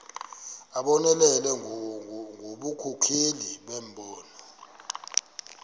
abonelele ngobunkokheli nembono